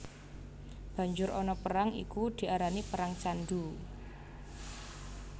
Banjur ana perang iku diarani perang Candhu